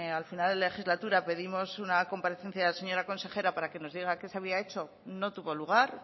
al final de legislatura pedimos una comparecencia de la señora consejera para que nos diga qué se había hecho no tuvo lugar